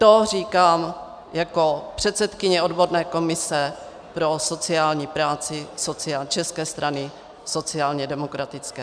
To říkám jako předsedkyně odborné komise pro sociální práci České strany sociálně demokratické.